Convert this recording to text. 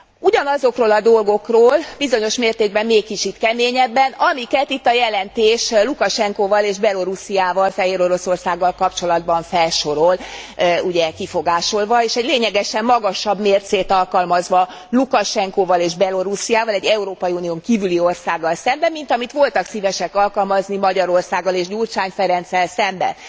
Ugyanazokról a dolgokról, bizonyos mértékben még kicsit keményebben, amiket itt a jelentés Lukasenkóval és Belorussziával, Fehéroroszországgal kapcsolatban felsorol ugye kifogásolva és egy lényegesen magasabb mércét alkalmazva Lukasenkóval és Belorussziával, egy Európai Unión kívüli országgal szemben, mint amit voltak szívesek alkalmazni Magyarországgal és Gyurcsány Ferenccel szemben.